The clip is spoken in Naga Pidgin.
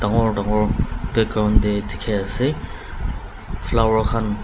dangor dangor background tey dikhi ase flower khan.